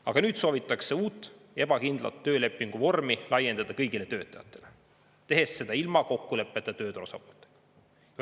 Aga nüüd soovitakse uut ebakindlat töölepinguvormi laiendada kõigile töötajatele, tehes seda ilma kokkuleppeta tööturu osapooltega.